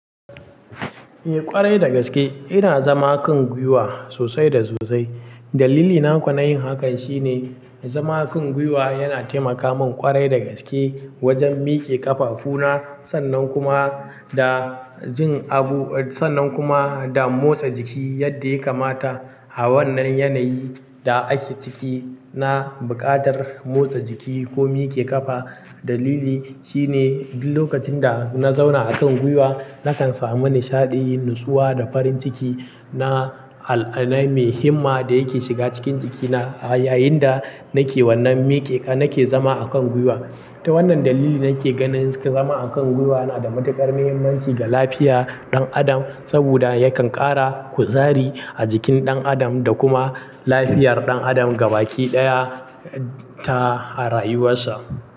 Eh ƙwarai da gaske, ina zama kan gwiwa sosai da sosai. Dalili na ko nayin hakan shine, zama kan gwiwa yana taimaka min ƙwarai da gaske, wajen mike ƙafafu na, sannan kuma da jin abu, sannan kuma da motsa jiki yadda ya kamata a wannan yanayi da ake ciki, na buƙatar motsa jiki ko mike ƙafa. Dalili shine, duk lokacin da na zauna akan gwiwa, nakan samu nishaɗi, nutsuwa da farin ciki na al'akanai mai himma da yake shiga cikin jikina yayinda nake wannan mike, nake zama akan gwiwa. Ta wannan dalili nake ganin, zama akan gwiwa yana da matuƙar mahimmanci ga lafiya ɗan adam, saboda yakan ƙara kuzari a jikin ɗan adam, da kuma lafiyar ɗan adam gaba ki ɗaya ta rayuwarsa.